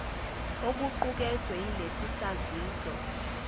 okuqukethwe yilesi saziso